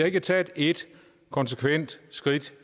ikke taget ét konsekvent skridt